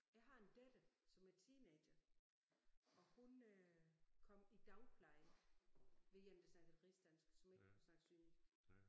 Jeg har en datter som er teenager og hun øh kom i dagpleje ved en der snakkede rigsdansk som ikke kunne snakke sønderjysk